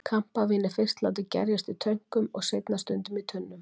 Kampavín er fyrst látið gerjast í tönkum og seinna stundum í tunnum.